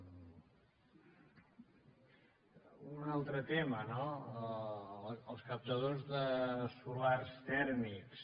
un altre tema no els captadors solars tèrmics